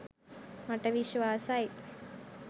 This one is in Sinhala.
මට විශ්වාසයි.